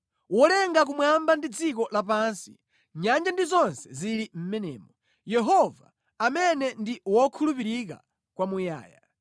Wolenga kumwamba ndi dziko lapansi, nyanja ndi zonse zili mʼmenemo; Yehova, amene ndi wokhulupirika kwamuyaya.